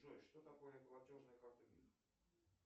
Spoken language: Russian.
джой что такое платежная карта мир